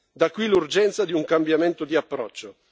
Da qui l'urgenza di un cambiamento di approccio.